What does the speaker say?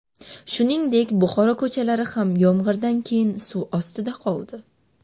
Shuningdek, Buxoro ko‘chalari ham yomg‘irdan keyin suv ostida qoldi .